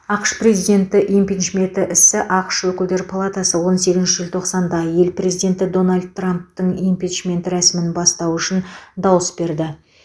ақш президенті импичменті ісі ақш өкілдер палатасы он сегізінші желтоқсанда ел президенті дональд трамптың импичменті рәсімін бастау үшін дауыс берді